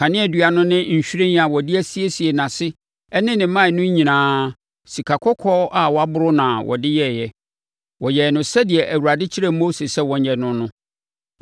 Kaneadua no ne nhwiren a wɔde asiesie nʼase ne ne mman no nyinaa, sikakɔkɔɔ a wɔaboro na wɔde yɛeɛ. Wɔyɛɛ no sɛdeɛ Awurade kyerɛɛ Mose sɛ wɔnyɛ no no.